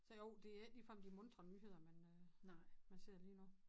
Så jo det er ikke ligefrem de muntre nyheder man øh man ser lige nu